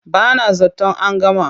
Ba na zaton an gama.